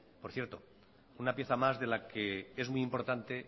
por cierto una pieza más de la que es muy importante